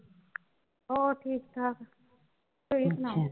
ਹੋਰ ਠੀਕ ਠਾਕ ਤੁਸੀਂ ਸੁਣਾਓ।